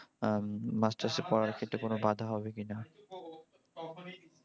হম মাস্টার্সে পড়ার ক্ষেত্রে কোনও বাঁধা হবে কিনা।